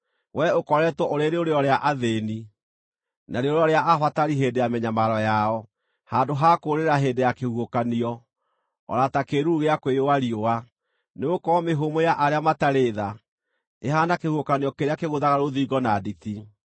Wee ũkoretwo ũrĩ rĩũrĩro rĩa athĩĩni, na rĩũrĩro rĩa abatari hĩndĩ ya mĩnyamaro yao, handũ ha kũũrĩra hĩndĩ ya kĩhuhũkanio, o na ta kĩĩruru gĩa kwĩyũa riũa. Nĩgũkorwo mĩhũmũ ya arĩa matarĩ tha ĩhaana kĩhuhũkanio kĩrĩa kĩgũthaga rũthingo na nditi,